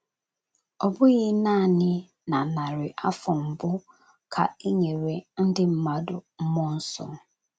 Ọ bụghị naanị na narị afọ mbụ, ka e nyere ndị mmadụ mmụọ nsọ.